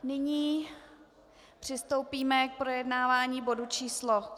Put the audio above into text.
Nyní přistoupíme k projednávání bodu číslo